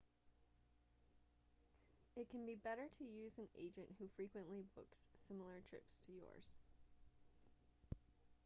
it can be better to use an agent who frequently books similar trips to yours